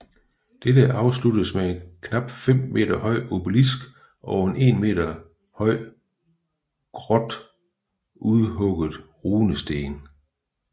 Dette afsluttes med en knap 5 meter høj obelisk og en 1 meter høj grodt udhugget runesten